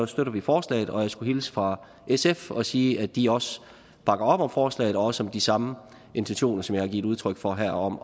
støtter vi forslaget og jeg skulle hilse fra sf og sige at de også bakker op om forslaget og også om de samme intentioner som har givet udtryk for her om